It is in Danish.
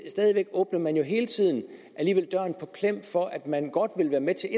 stadig væk åbner man jo hele tiden døren på klem for at man godt vil være med til